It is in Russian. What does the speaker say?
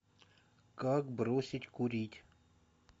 как бросить курить